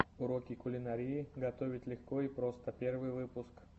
уроки кулинарии готовить легко и просто первый выпуск